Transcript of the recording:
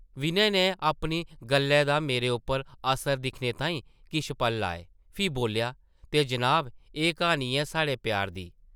विनय नै अपनी गल्लै दा मेरे उप्पर असर दिक्खने ताईं किश पल लाए, फ्ही बोल्लेआ, ते जनाब, एह् क्हानी ऐ साढ़े प्यार दी ।